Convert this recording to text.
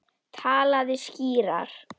Talaðu skýrar.